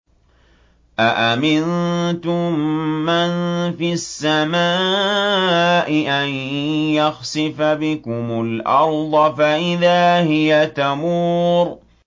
أَأَمِنتُم مَّن فِي السَّمَاءِ أَن يَخْسِفَ بِكُمُ الْأَرْضَ فَإِذَا هِيَ تَمُورُ